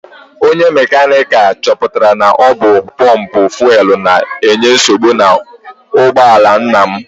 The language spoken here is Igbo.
Onye mekaniki chọpụtara na ọ bụ pọmpụ fuelu na-enye nsogbu n'ụgbọala nna m.